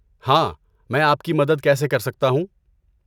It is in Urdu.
ہاں، میں آپ کی مدد کیسے کر سکتا ہوں؟